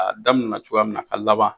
Daminɛna cogoya min na a ka laban